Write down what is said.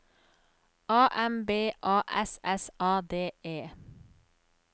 A M B A S S A D E